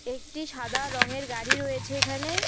একটি সাদা রঙের গাড়ি রয়েছে এখানে।